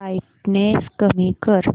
brightness कमी कर